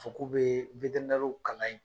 Fɔ k'u be kalan yen.